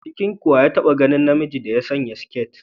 A cikinku wa ya taɓa ganin namiji ya sanya siketi?